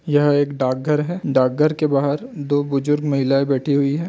यह एक डाकघर है डाकघर के बाहर दो बुजुर्ग महिलाये बैठी हुई है।